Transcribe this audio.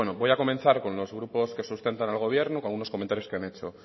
bueno voy a comenzar con los grupos que sustentan al gobierno con unos comentarios que han hecho